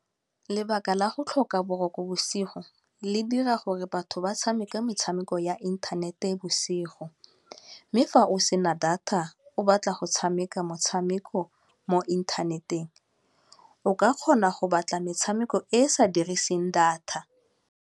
Lebaka la go tlhoka boroko bosigo le dira gore batho ba tshameka metshameko ya inthanete bosigo mme fa o sena data, o batla go tshameka motshameko mo inthaneteng o ka kgona go batla metshameko e e sa diriseng data.